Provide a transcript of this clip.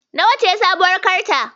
Nawa ce sabuwar tirakta?